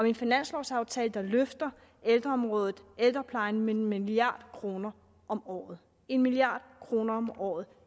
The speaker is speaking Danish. en finanslovsaftale der løfter ældreområdet og ældreplejen med en milliard kroner om året en milliard kroner om året